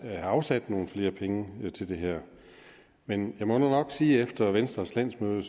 have afsat nogle flere penge til det her men jeg må nu nok sige at efter venstres landsmøde